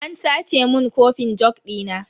An sace mun kofin jug dina.